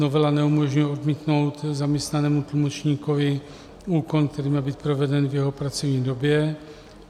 Novela neumožňuje odmítnout zaměstnanému tlumočníkovi úkon, který měl být proveden v jeho pracovní době.